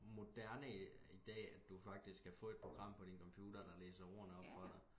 moderne i dag at du faktisk kan få et program på din computer der læser ordene op for dig